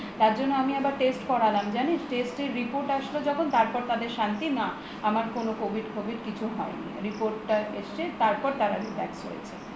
তার জন্য আমি আবার test করালাম জানিস test এর report আসলো যখন তারপর তাদের শান্তি না আমার covid টভিদ কিছুই হয় নি report টা এসছে তারপর তার আগে tax হয়েছে